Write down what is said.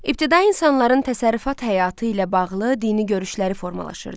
İbtidai insanların təsərrüfat həyatı ilə bağlı dini görüşləri formalaşırdı.